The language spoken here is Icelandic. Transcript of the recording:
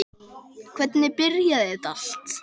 En hvernig byrjaði þetta allt?